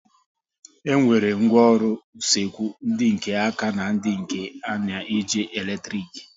E nwere ngwaọrụ usekwu ndị nke áká na ndị nke na-eji eletrik